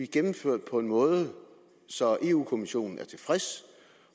gennemført på en måde så eu kommissionen er tilfreds